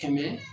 Kɛmɛ